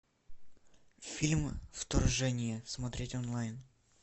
фильм вторжение смотреть онлайн